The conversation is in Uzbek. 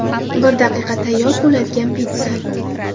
Bir daqiqada tayyor bo‘ladigan pitssa.